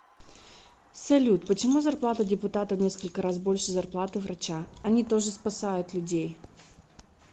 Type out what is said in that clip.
салют почему зарплата депутата в несколько раз больше зарплаты врача они тоже спасают людей